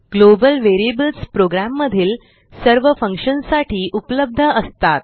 global variablesप्रोग्रॅममधील सर्व फंक्शनसाठी उपलब्ध असतात